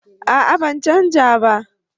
A'a ban canja ba